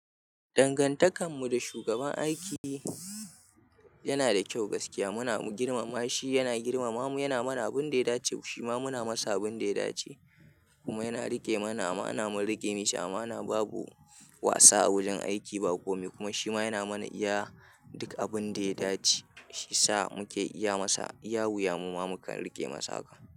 Dangantakar mu da shugaban aiki yana da kyau gaskiya. Muna girmama shi, yana girmama mu, yana mana abun da ya dace, shi ma muna masa abun da ya dace. Kuma yana riƙe mana amana mun riƙe mishi amana na babu wasa a wajen aiki ba kome. Kuma shi ma yana mana iya duk abun da ya dace shiyasa muka iya masa. iYa wuya muma mukan riƙe masa haka.